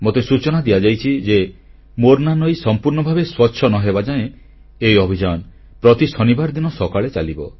ମୋତେ ସୂଚନା ଦିଆଯାଇଛି ଯେ ମୋର୍ନା ନଈ ସମ୍ପୂର୍ଣ୍ଣ ଭାବେ ସ୍ୱଚ୍ଛ ନ ହେବାଯାଏ ଏହି ଅଭିଯାନ ପ୍ରତି ଶନିବାର ଦିନ ସକାଳେ ଚାଲିବ